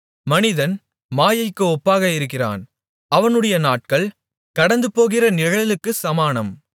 மனிதன் மாயைக்கு ஒப்பாக இருக்கிறான் அவனுடைய நாட்கள் கடந்துபோகிற நிழலுக்குச் சமானம்